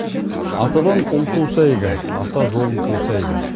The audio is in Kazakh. атадан ұл туса игі ата жолын қуса игі